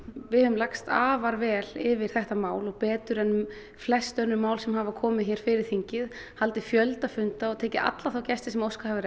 við höfum lagst afar vel yfir þetta mál og betur en flest önnur mál sem hafa komið fyrir þingið haldið fjölda funda og tekið alla þá gesti sem óskað hefur